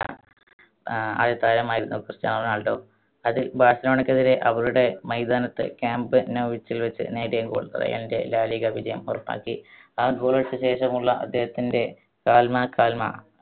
ആഹ് ആദ്യ താരമായിരുന്നു Cristiano Ronaldo. അതിൽ ബാർസലോണക്കെതിരെ അവരുടെ മൈതാനത്ത് ക്യാമ്പ് നൗ വെച്ച് നേടിയ goal റയലിന്റെ ലാ ലിഗ വിജയം ഉറപ്പാക്കി. ആ goal അടിച്ച ശേഷമുള്ള അദ്ദേഹത്തിന്റെ കാൽമ, കാൽമ